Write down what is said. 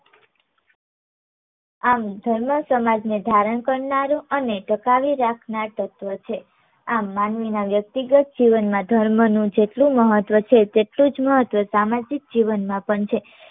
આમ ધર્મ સમાજ ને ધારણ કરનારો અને ટકાવી રાખનાર તત્વ છે. આમ માનવીનાં વ્યક્તિગત જીવનમાં ધર્મનું જેટલું મહત્વ છે તેટલું જ મહત્વ સામાજિક જીવનમાં પણ છે